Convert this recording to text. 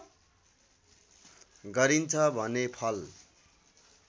गरिन्छ भने फल